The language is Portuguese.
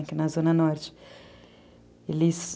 Aqui na Zona Norte.